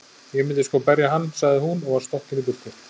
Ég myndi sko berja hann, sagði hún og var stokkin í burtu.